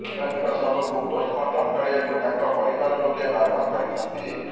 ଶିବାନୀଙ୍କ ଶବକୁ ପୋଷ୍ଟମର୍ଟମ କରିବାକୁ ତାଙ୍କ ପରିବାର ଲୋକେ ବାରଣ କରିଛନ୍ତି